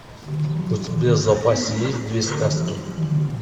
у тебя в запасе есть две сказки